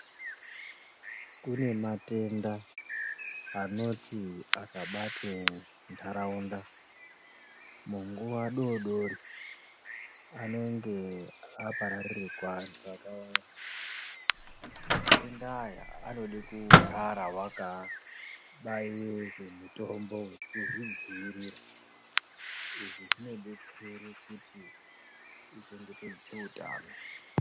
Kune matenda anoti akabate ndaraunda munguva dodori anonge abararikwa ngeantu akawanda matenda Aya anode kugara wakaabayiwe mitombo wekuzvidziirira izvi zvinobetsere kuti uchengetedze utano